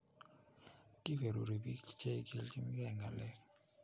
Kiberuri bik Che 'giiljingei Ng'alek.